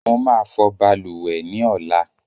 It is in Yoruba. I will wash bathroom tomorrow